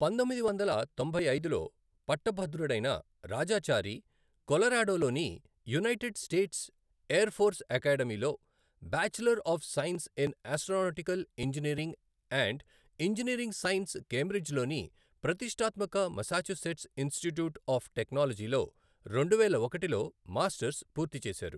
పంతొమ్మిది వందల తొంభై ఐదులో పట్టభద్రుడైన రాజాచారి కొలరాడోలోని యునైటెడ్ స్టేట్స్ ఎయిర్ ఫోర్స్ అకాడమీలో bachelor of science in astronautical engineering and engineering science కేంబ్రిడ్జిలోని ప్రతిష్ఠాత్మక మస్సాచుసెట్స్ ఇన్స్టిట్యూట్ ఆఫ్ టెక్నాలజీలో రెండువేల ఒకటిలో మాస్టర్స్ పూర్తి చేశారు.